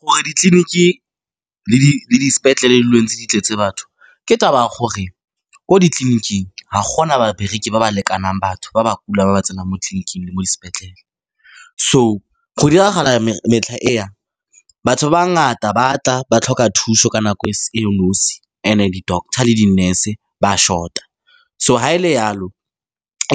Gore ditleliniki le dispetlele di dule ntse di tletse batho ke taba ya gore ko ditleliniking ga gona babereki ba ba lekanang batho ba ba kulang ba ba tsenang mo tleliniking le mo dispetlele. So go diragala batho ba ba ngata ba tla, ba tlhoka thuso ka nako e le nosi, and-e di-doctor le di-nurse ba a short-a. So, ga e le jalo,